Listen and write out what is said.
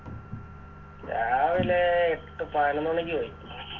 രാവിലെ എട്ട് പാനോന്ന് മണിക്ക് പോയി